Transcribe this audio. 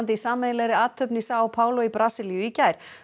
í sameiginlegri athöfn í Sao Paolo í Brasilíu í gær